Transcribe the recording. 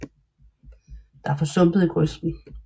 Der er for sumpet i grøften